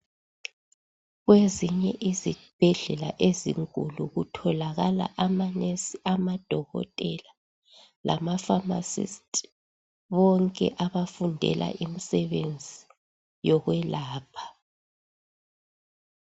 Kwezinye izibhedlela ezinkulu kutholakala amanesi, amadokotela lamapharmacist bonke abafundela imisebenzi yokwelapha.